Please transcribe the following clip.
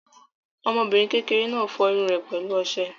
Ọmọbìnrin kékeré náà fọ irun rẹ̀ pẹ̀lú ọṣẹ.